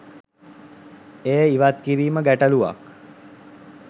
එය ඉවත් කිරීම ගැටලුවක්.